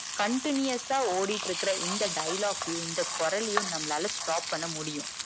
continuous சா ஓடிட்டு இருக்கற இந்த dialogue கையும் இந்த குரலையும் நம்மளால stop பண்ண முடியும்.